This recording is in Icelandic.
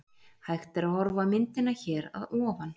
Hægt er að horfa á myndina hér að ofan.